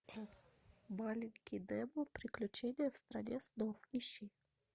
маленький немо приключение в стране снов ищи